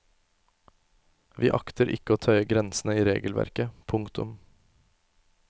Vi akter ikke å tøye grensene i regelverket. punktum